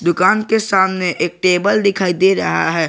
दुकान के सामने एक टेबल दिखाई दे रहा है।